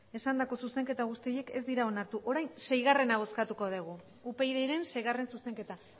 esandako zuzenketa guzti horiek ez dira onartu orain upydren seigarrena zuzenketa